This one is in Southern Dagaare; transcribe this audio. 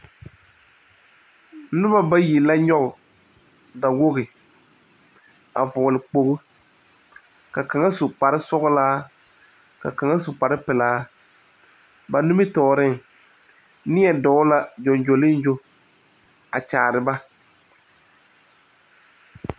Nuba bayi la nyuge dawɔgi a vɔgle kpogli ka kanga su kpare sɔglaa ka kanga su kpare pelaa ba nimitoɔring neɛ dou la jonjolinjo a kyaare ba.